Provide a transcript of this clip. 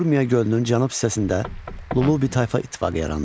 Urmiya gölünün cənub hissəsində Lullubi tayfa ittifaqı yarandı.